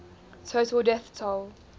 total death toll